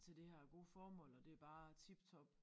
Til det her gode formål og det bare tip top